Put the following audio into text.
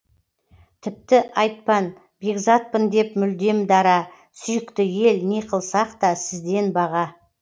тіпті айтпан бекзатпын деп мүлдем дара сүйікті ел не қылсақ та сізден баға